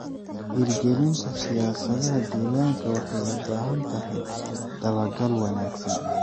Hirgelinta siyaasadaha deegaanka waxay u baahan tahay dabagal wanaagsan.